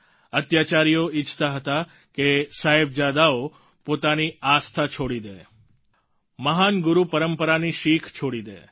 અત્યાચારીઓ ઈચ્છતા હતા કે સાહેબજાદાઓ પોતાની આસ્થા છોડી દે મહાન ગુરુ પરંપરાની શિખ છોડી દે